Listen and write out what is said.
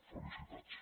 felicitats